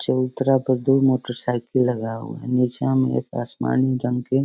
चबूतरा पे दो मोटरसाइकिल लगा है। निचा में देख आसमानी रंग के --